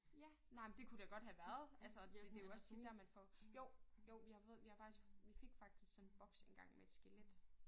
Ja nej men det kunne da godt have været altså og det jo også tit dér man får. Jo jo vi har fået vi har faktisk vi fik faktisk sådan en boks engang med et skelet